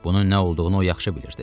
Bunun nə olduğunu o yaxşı bilirdi.